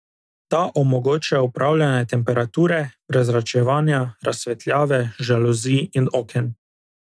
Ta omogoča upravljanje temperature, prezračevanja, razsvetljave, žaluzij in oken.